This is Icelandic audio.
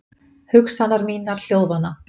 Hugsanir mínar hljóðvana.